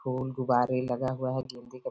फूल गुब्बारे लगा हुआ है।